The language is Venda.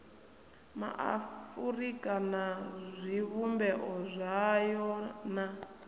maafurika na zwivhumbeo zwayo na